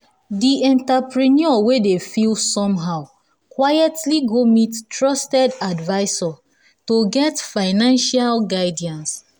the entrepreneur wey dey feel wey dey feel somehow quietly go meet trusted advisor to get financial guidance.